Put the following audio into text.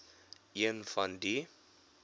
een van die